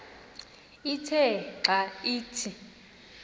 ithe xa ithi